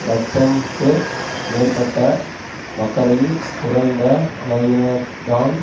இலட்சம்க்கு மேற்பட்ட மக்களில் குறைந்த அளவினர்தான்